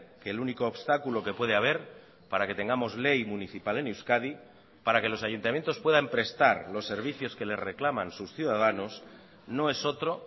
que el único obstáculo que puede haber para que tengamos ley municipal en euskadi para que los ayuntamientos puedan prestar los servicios que le reclaman sus ciudadanos no es otro